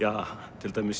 til dæmis